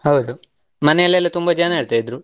ಹೌದು ಮನೆಯಲೆಲ್ಲಾ, ತುಂಬಾ ಜನ ಇರ್ತಿದ್ರು.